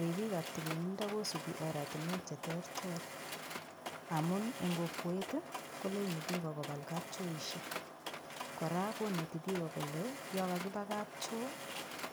Ripikab tililindo kosupi oratinwek cheterter amun eng' kokwet koleini biko kobal kapchoishek kora koneti biko kole yo kakiba kapchoo